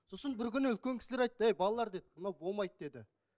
сосын бір күні үлкен кісілер айтты ей балалар деді мынау болмайды деді